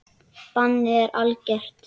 Bannið er algert.